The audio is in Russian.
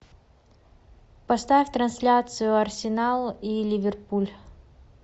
поставь трансляцию арсенал и ливерпуль